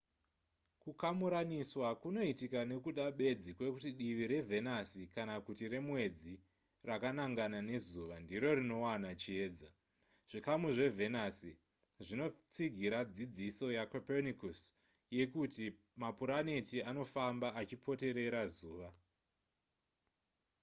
kukamuraniswa kunoitika nekuda bedzi kwekuti divi revhenasi kana kuti remwedzi rakanangana nezuva ndiro rinowana chiedza. zvikamu zvevhenasi zvinotsigira dzidziso yacopernicus yekuti mapuraneti anofamba achipoterera zuva